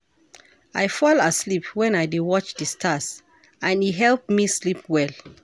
I fall asleep wen I dey watch di stars and e help me sleep well.